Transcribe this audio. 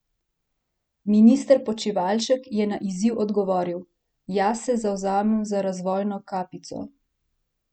Minister Počivalšek je na izziv odgovoril: "Jaz se zavzemam za razvojno kapico.